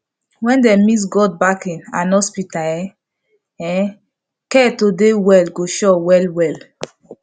seriously en doctor and nurse suppose dey ask jejely with respect about watin person dey take believe